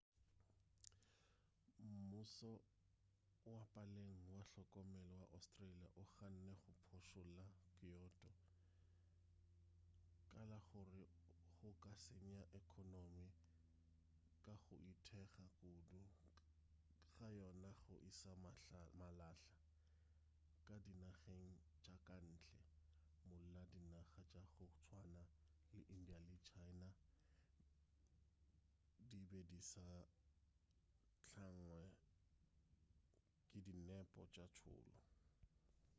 mmušo wa peleng wa hlokomelo wa australia o ganne go phošolla kyoto ka la gore go ka senya ekhonomi ka go ithekga kudu ga yona go iša malahla ka dinageng tša ka ntle mola dinaga tša go tswana le india le china di be di sa tlangwe ke dinepo tša tšhollo